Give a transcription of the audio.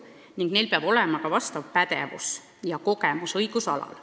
Nendel inimestel peab olema ka vajalik kogemus õigusalal.